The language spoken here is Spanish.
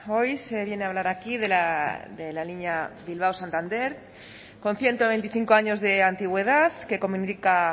hoy se viene a hablar aquí de la línea bilbao santander con ciento veinticinco años de antigüedad que comunica